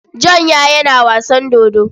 John ya yana wasan dodo.